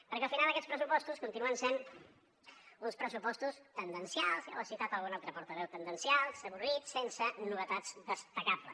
perquè al final aquests pressupostos continuen sent uns pressupostos tendencials ja ho ha citat algun altre portaveu avorrits sense novetats destacables